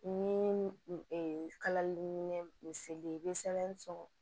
Ni kalali bɛ misali ye i bɛ sɛbɛn sɔrɔ